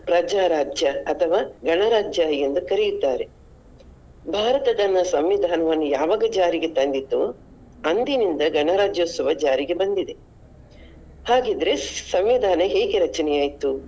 ಪ್ರಜಾ ರಾಜ್ಯ ಅಥವಾ ಗಣರಾಜ್ಯ ಎಂದು ಕರಿಯುತ್ತಾರೆ. ಭಾರತದ ಸಂವಿಧಾನವನ್ನು ಯಾವಾಗ ಜಾರಿಗೆ ತಂದಿತು ಅಂದಿನಿಂದ ಗಣರಾಜ್ಯೋತ್ಸವ ಜಾರಿಗೆ ಬಂದಿದೆ. ಹಾಗಿದ್ರೆ ಸಂವಿಧಾನ ಹೇಗೆ ರಚನೆ ಆಯ್ತು?